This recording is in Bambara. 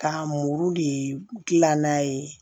Ka muru de gilan n'a ye